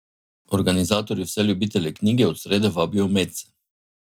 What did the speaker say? Organizatorji vse ljubitelje knjige od srede vabijo medse.